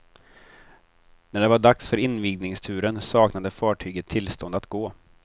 När det var dags för invigningsturen saknade fartyget tillstånd att gå.